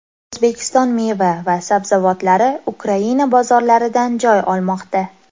O‘zbekiston meva va sabzavotlari Ukraina bozorlaridan joy olmoqda.